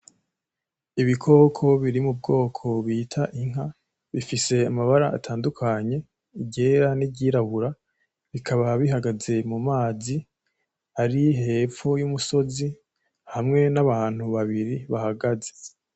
Ibikoko biri mu bwoko bita inka, bifise amabara atandukanye, iryera n'iry'irabura, bikaba bihagaze mu mazi ari hepfo y'umusozi, hamwe n'abantu babiri bahagaze.